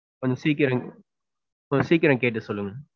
கொஞ்ச சீக்கிரம். கொஞ்ச சீக்கிரம் கேட்டு சொல்லுங்க.